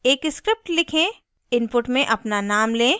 #एक script लिखें input में अपना name लें